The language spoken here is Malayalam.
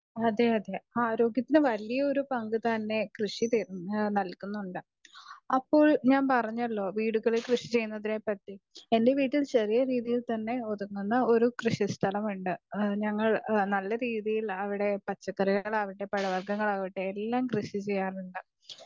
സ്പീക്കർ 2 അതെ അതെ ആരോഗ്യത്തിന് വലിയൊരു പങ്ക് തന്നെ കൃഷി തരുന്നുണ്ട് അപ്പോൾ ഞാൻ പറഞ്ഞല്ലോ വീടുകളിൽ കൃഷി ചെയ്യുന്നതിനെ പറ്റി എന്റെ വീട്ടിൽ ചെറിയ രീതിയിൽ തന്നെ ഒതുങ്ങുന്ന ഒരു കൃഷി സ്ഥലമുണ്ട് നല്ല രീതിയിൽ അവിടെ പച്ചക്കറികളാവട്ടെ പഴവർഗങ്ങളാവട്ടെ എല്ലാം കൃഷി ചെയ്യാറുണ്ട്.